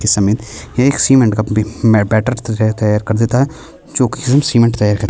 के समय एक सीमेंट अपनी मैं बैटर तैयार कर देता है जो की सीमेंट तैयार कर--